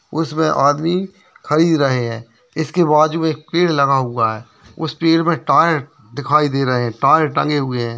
उसमे आदमी खरीद रहे है इसके बाजु एक पेड़ लगा हुआ है उस पेड़ में टायर दिखाई दे रहे है टायर टंगे हुए है।